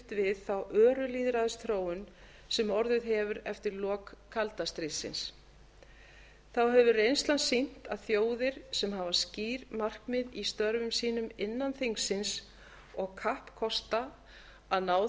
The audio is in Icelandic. við þá öru lýðræðisþróun sem orðið hefur eftir lok kalda stríðsins þá hefur reynslan sýnt að þjóðir sem hafa skýr markmið í störfum sínum innan þingsins og kappkosta að ná